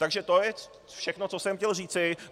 Takže to je všechno, co jsem chtěl říci.